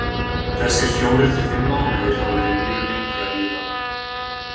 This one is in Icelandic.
Þessir fjórir til fimm mánuðir hafa verið mjög lengi að líða.